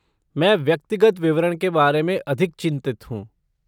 मैं व्यक्तिगत विवरण के बारे में अधिक चिंतित हूँ।